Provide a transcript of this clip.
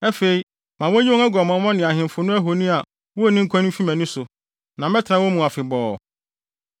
Afei ma wonnyi wɔn aguamammɔ ne ahemfo no ahoni a wonni nkwa no mfi mʼani so, na mɛtena wɔn mu afebɔɔ.